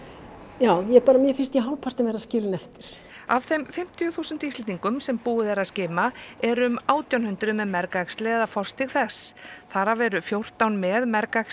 já bara mér finnst ég hálfpartinn vera skilin eftir af þeim fimmtíu þúsund Íslendinga sem búið er að skima eru um átján hundruð með mergæxli eða forstig þess þar af eru fjórtán með